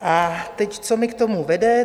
A teď, co mě k tomu vede?